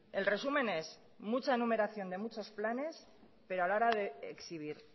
el resumen es mucha enumeración de muchos planes pero a la hora de exhibir